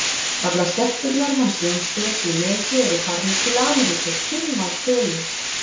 Allar stelpurnar hans Jónbjörns í Nesi eru farnar til Ameríku, fimm að tölu.